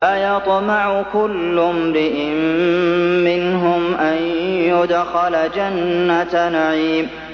أَيَطْمَعُ كُلُّ امْرِئٍ مِّنْهُمْ أَن يُدْخَلَ جَنَّةَ نَعِيمٍ